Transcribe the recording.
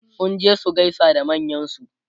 sun je su gaisa da manyansu